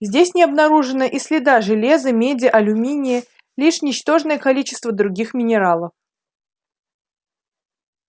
здесь не обнаружено и следа железа меди алюминия лишь ничтожное количество других минералов